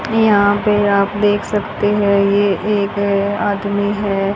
यहां पे आप देख सकते हैं ये एक अ आदमी है।